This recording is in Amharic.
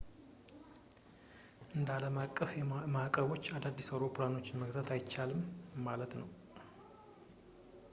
እንደ ዓለም አቀፍ ማዕቀቦች አዳዲስ አውሮፕላኖችን መግዛት አይቻልም ማለት ነው